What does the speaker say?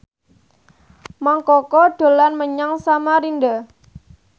Mang Koko dolan menyang Samarinda